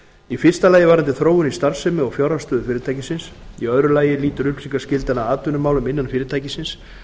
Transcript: í fyrsta lagi varðandi þróun í starfsemi og fjárhagsstöðu fyrirtækisins í öðru lagi lýtur upplýsingaskyldan að atvinnumálum innan fyrirtækisins